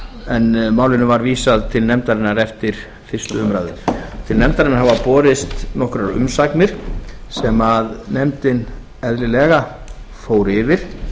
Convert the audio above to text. en málinu var vísað til nefndarinnar eftir fyrstu umræðu til nefndarinnar hafa borist nokkrar umsagnir sem nefndin eðlilega fór yfir